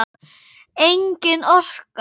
Engin orka.